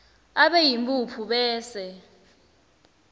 abe yimphuphu bese